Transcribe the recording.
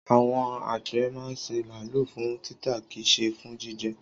Àwon àgbẹ̀ máa ń sin màálù fún títà kìí ṣe fún jíjẹ.